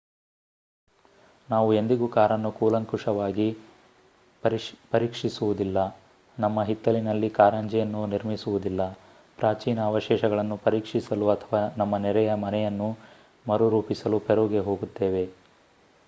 ನಾವು ಎಂದಿಗೂ ಕಾರನ್ನು ಕೂಲಂಕಷವಾಗಿ ಪರೀಕ್ಷಿಸುವುದಿಲ್ಲ ನಮ್ಮ ಹಿತ್ತಲಿನಲ್ಲಿ ಕಾರಂಜಿಯನ್ನು ನಿರ್ಮಿಸುವುದಿಲ್ಲ ಪ್ರಾಚೀನ ಅವಶೇಷಗಳನ್ನು ಪರೀಕ್ಷಿಸಲು ಅಥವಾ ನಮ್ಮ ನೆರೆಯ ಮನೆಯನ್ನು ಮರುರೂಪಿಸಲು ಪೆರುಗೆ ಹೋಗುತ್ತೇವೆ